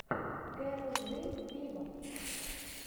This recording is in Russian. кэрол джи виво